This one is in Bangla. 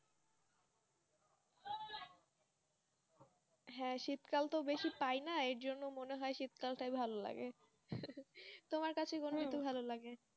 হ্যাঁ শীত কালতো বেশি পাই না এই জন্য মনে হয় শীত কালতো ভালো লাগে তোমার কাছে মনে হয় তোমার ভালো লাগে